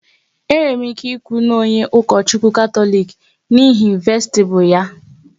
E nwere m ike ikwu n'onye Ukochukwu Katọlik n'ihi vestibu ya